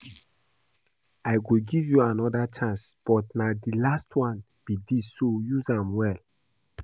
I go give you another chance but na the last one be dis so use am well